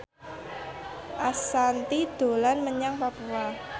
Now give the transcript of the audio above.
Ashanti dolan menyang Papua